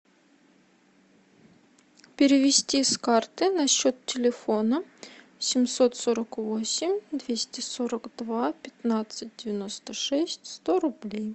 перевести с карты на счет телефона семьсот сорок восемь двести сорок два пятнадцать девяносто шесть сто рублей